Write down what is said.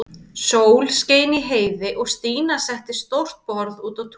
Sól skein í heiði og Stína setti stórt borð út á tún.